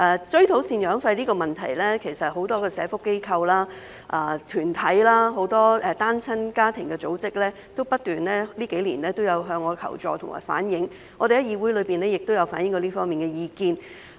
追討贍養費的問題，其實很多社福機構、團體、很多單親家庭的組織在這數年不斷向我求助和反映，我們在議會內亦有反映這方面的意見。